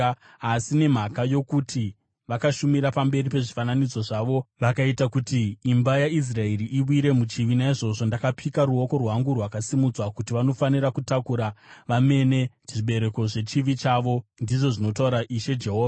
Asi nemhaka yokuti vakavashumira pamberi pezvifananidzo zvavo vakaita kuti imba yaIsraeri iwire muchivi, naizvozvo ndakapika ruoko rwangu rwakasimudzwa kuti vanofanira kutakura vamene zvibereko zvechivi chavo, ndizvo zvinotaura Ishe Jehovha.